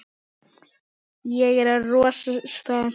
Ég er rosa spennt.